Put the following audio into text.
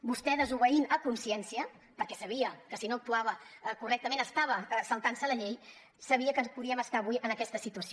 vostè desobeint a consciència perquè sabia que si no actuava correctament estava saltant se la llei sabia que podíem estar avui en aquesta situació